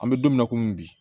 An bɛ don min na komi bi